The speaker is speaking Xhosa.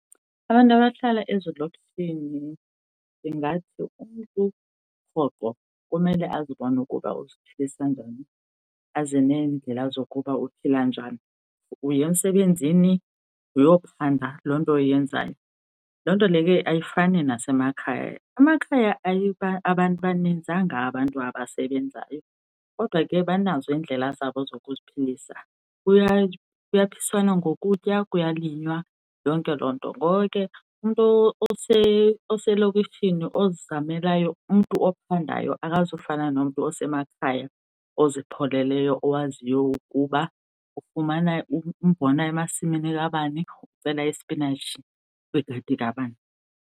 Abantu abahlala ezidolophini ndingathi umntu rhoqo kumele azibone ukuba uziphilisa njani, aze neendlela zokuba uphila njani. Uya emsebenzini uyophanda loo nto uyenzayo, loo nto leyo ke ayifani nasemakhaya. Emakhaya ababaninzanga abantu abasebenzayo kodwa ke banazo iindlela zabo zokuziphilisa, kuyaphiswana ngokutya, kuyalinywa yonke loo nto. Ngoko ke, umntu oselokishini ozizamelayo, umntu ophandayo akazufana nomntu osemakhaya ozipholeleyo owaziyo ukuba ufumana umbona emasimini kabani ucela ispinatshi kwigadi kabani.